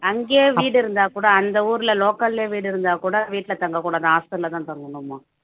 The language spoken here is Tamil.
அங்கேயே வீடு இருந்தா கூட அந்த ஊர்ல local லயே வீடு இருந்தா கூட வீட்டுல தங்கக் கூடாது hostel அ தான் தங்கணுமா